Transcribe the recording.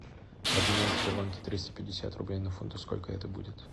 обменять в сбербанке триста пятьдесят рублей на фунты сколько это будет